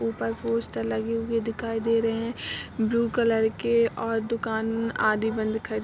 ऊपर पोस्टर लगे हुए दिखाई दे रहे है | ब्लू कलर के और दुकान आदि बंद --